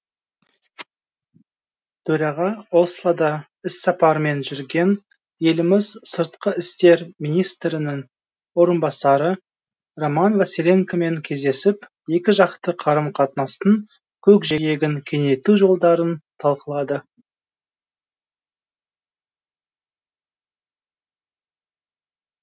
төраға ослода іссапармен жүрген еліміз сыртқы істер министрінің орынбасары роман василенкомен кездесіп екіжақты қарым қатынастың көкжиегін кеңейту жолдарын талқылады